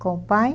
Com o pai?